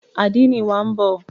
Àdénì wa ń bọ̀.